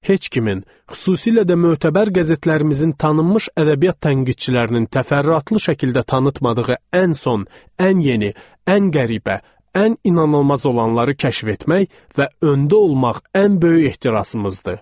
Heç kimin, xüsusilə də mötəbər qəzetlərimizin tanınmış ədəbiyyat tənqidçilərinin təfərrüatlı şəkildə tanıtmadığı ən son, ən yeni, ən qəribə, ən inanılmaz olanları kəşf etmək və öndə olmaq ən böyük ehtirasımızdır.